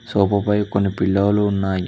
సోపు పై కొన్ని పిల్లో లు ఉన్నాయి.